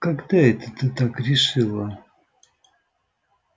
когда это ты так решила